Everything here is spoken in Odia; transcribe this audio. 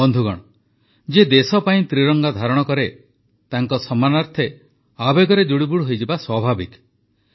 ବନ୍ଧୁଗଣ ଯିଏ ଦେଶ ପାଇଁ ତ୍ରିରଙ୍ଗା ଧାରଣ କରେ ତାର ସମ୍ମାନାର୍ଥେ ଆବେଗରେ ଜୁଡୁବୁଡୁ ହୋଇଯିବା ସ୍ୱାଭାବିକ